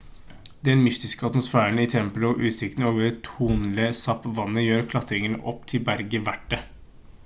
den mystiske atmosfæren i tempelet og utsikten over tonle sap-vannet gjør klatringen opp til berget verdt det